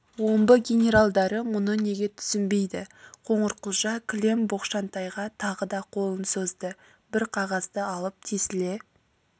омбы генералдары мұны неге түсінбейді қоңырқұлжа кілем боқшантайға тағы да қолын созды бір қағазды алып тесіле